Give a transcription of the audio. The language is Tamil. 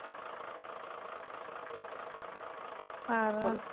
பார்றா